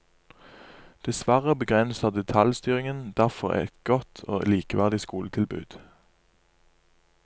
Dessverre begrenser detaljstyringen derfor et godt og likeverdig skoletilbud.